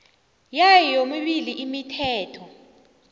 yayo yomibili imithetho